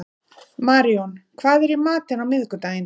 Maríon, hvað er í matinn á miðvikudaginn?